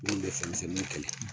Minnu bɛ fɛnmisɛnniw kɛlɛ.